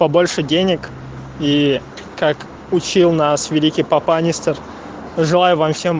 побольше денег и как учил нас великий папанистер желаю вам всем